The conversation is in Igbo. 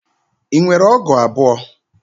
Ị nwere ọgụ abụọ?